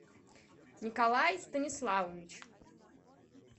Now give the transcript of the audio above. николай станиславович